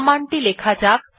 command টি লেখা যাক